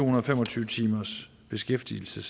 og fem og tyve timers beskæftigelse